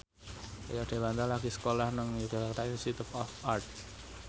Rio Dewanto lagi sekolah nang Yogyakarta Institute of Art